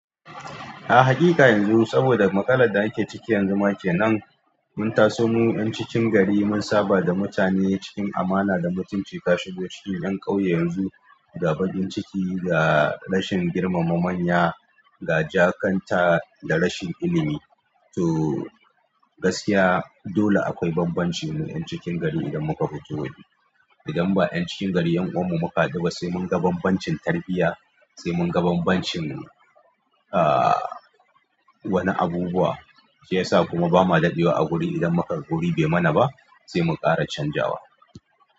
A haqiqa yanzu saboda matsalar da ake ciki yanzu ma kenan, mun taso mu 'yan cikin gari mun saba da mutane cikin amana da mutunci ka shigo cikin 'yan ƙauye yanzu ga bakin ciki, da rashin girmama manya, ga jakanta da rashin ilimi. To gaskiya dole akwai bambancin mu 'yan cikin gari idan muka fito waje. Idan ba 'yan cikin gari 'yan uwan mu muka haɗu ba sai mun ga bambancin tarbiyya, sai mun ga bambancin aa wani abubuwa, shi yasa kuma ba ma daɗewa a wuri idan mukaga guri bai mana ba sai mun ƙara canjawa.